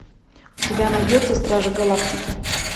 у тебя найдется стражи галактики